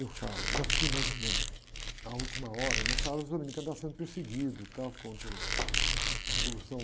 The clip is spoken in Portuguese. Eu falo, já fico imaginando, a última hora, nessa hora os dominicanos estavam sendo perseguidos e tal, contra uh, a revolução.